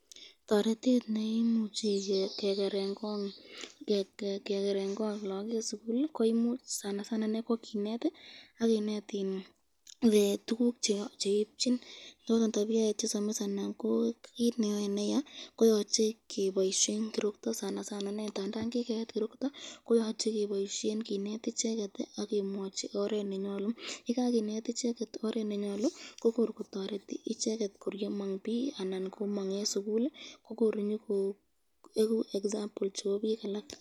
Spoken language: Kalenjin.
Toretet neimuchi kekeren Kong logok eng sukul, koyoche kinet, kokuyo tukuk cheyachen ak chemnyachen asikobit kobesyo, yoche koraa keboisyen kirikto, tandan inee kikeet korokto toreti nondon kegirinda